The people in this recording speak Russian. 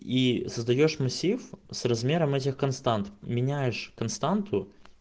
и создаёшь массив с размером этих констант меняешь константу